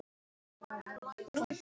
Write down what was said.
Enginn veit hvað réði.